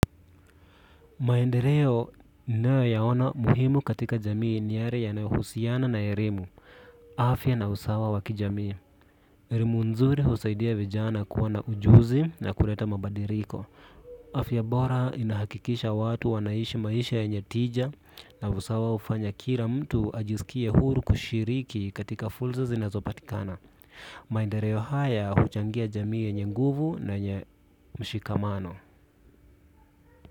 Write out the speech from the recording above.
Maendeleo ninao yaona muhimu katika jamii ni yale yanayohusiana na elimu, afya na usawa wa kijamii. Elimu nzuri husaidia vijana kuwa na ujuzi na kuleta mabadiliko. Afya bora inahakikisha watu wanaishi maisha yenye tija na usawa hufanya kila mtu ajisikie huru kushiriki katika fursa zinazopatikana. Maendeleo haya huchangia jamii yenye nguvu na yenye mshikamano.